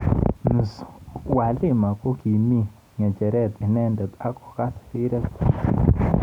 Ms Twalima kokimi ngecheret inendet ak kokas rirek chik.